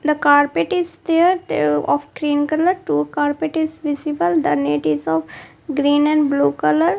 the carpet is there they are of green colour two carpet is visible the net is of green and blue colour.